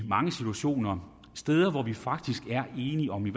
mange situationer steder hvor vi faktisk er enige om i